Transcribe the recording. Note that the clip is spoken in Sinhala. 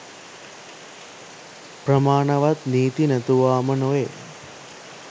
ප්‍රමාණවත් නීති නැතුවාම නොවේ.